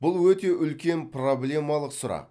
бұл өте үлкен проблемалық сұрақ